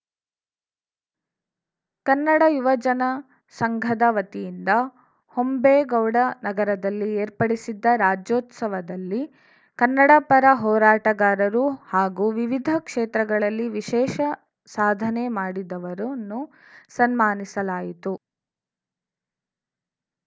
ಕನ್ನಡ ಯುವ ಜನ ಸಂಘದ ವತಿಯಿಂದ ಹೊಂಬೇಗೌಡ ನಗರದಲ್ಲಿ ಏರ್ಪಡಿಸಿದ್ದ ರಾಜ್ಯೋತ್ಸವದಲ್ಲಿ ಕನ್ನಡ ಪರ ಹೋರಾಟಗಾರರು ಹಾಗೂ ವಿವಿಧ ಕ್ಷೇತ್ರಗಳಲ್ಲಿ ವಿಶೇಷ ಸಾಧನೆ ಮಾಡಿದವರನ್ನು ಸನ್ಮಾನಿಸಲಾಯಿತು